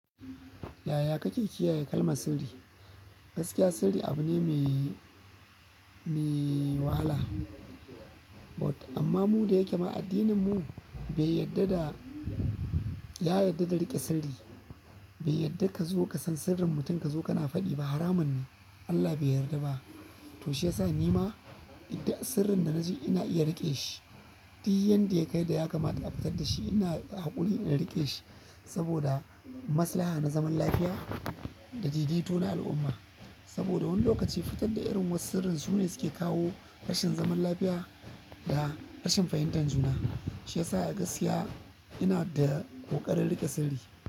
Yaya kake kiyaye kalmar sirri? Gaskiya sirri abune mai wahala. But amma mu da yake ma addininmu bai yadda da, ya yadda da riƙe sirri. Bai yadda ka zo ka san sirrin mutum ka zo kana faɗi ba. Haramun ne. Allah bai yarda ba. To shi yasa nima idan sirrin da na ji ina iya riƙe shi, duk yanda ya kai da ya kamata da a fitar da shi ina da haƙuri in riƙe shi saboda masalaha na zaman lafiya da daidaito na al'umma. Saboda wani lokaci fitar da irin wasu sirrin su ne suke kawo rashin zaman lafiya da rashin fahimtar juna. Shi yasa a gaskiya ina da ƙoƙarin riƙe sirri.